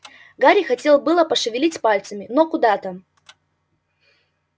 гарри хотел было пошевелить пальцами но куда там